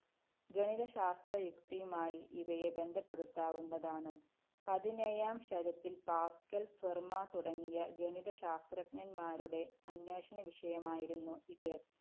ഗണിതശാസ്ത്രയുക്തിയുമായി ഇവയെ ബന്ധപ്പെടുത്താവുന്നതാണ്. പതിനേഴാം ശരത്തില്‍ പാസ്കല്‍, ഫെര്‍മാ തുടങ്ങിയ ഗണിതശാസ്ത്രജ്ഞന്മാരുടെ അന്വേഷണ വിഷയമായിരുന്നു ഇത്.